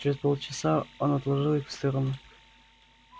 через полчаса он отложил их в сторону